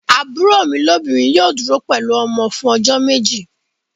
Àbúrò mi lóbìnrin yóò dúró pẹ̀lú ọmọ fún ọjọ́ méjì.